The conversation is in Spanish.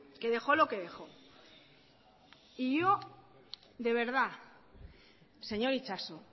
que dejó lo que dejó y yo de verdad señor itxaso